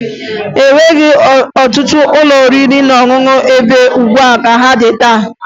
E nweghi ọtụtụ ụlọ oriri na ọṅụṅụ mgbe gboo ka ha dị taa